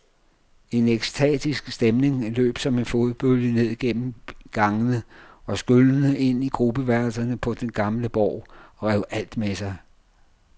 En ekstatisk stemning løb som en flodbølge ned gennem gangene og skyllede ind i gruppeværelserne på den gamle borg og rev alt med sig.